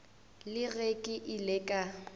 le ge ke ile ka